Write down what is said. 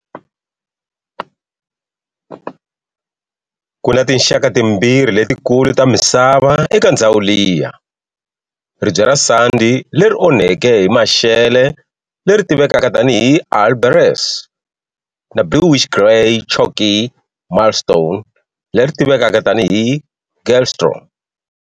Kuna tinxaka timbirhi letikulu ta misava eka ndzhawu liya-ribye ra sandi leri onhakeke hi maxelo leri tivekaka tani hi"alberese" na bluish-grey chalky marlstone leri tivekaka tani hi"galestro".